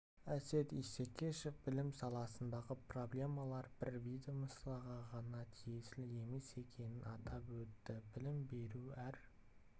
әсет исекешев білім саласындағы проблемалар бір ведомствоға ғана тиесілі емес екенін атап өтті білім беру әр